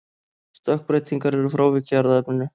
Stökkbreytingar eru frávik í erfðaefninu.